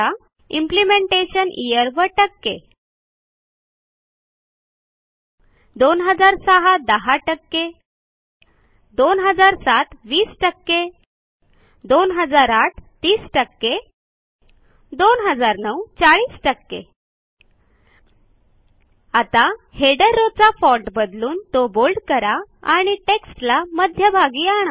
implementation year व160 2006 10 2007 20 2008 30 2009 40 आता header row चा फाँट बदलून तो बोल्ड करा आणि टेक्स्टला मध्यभागी आणा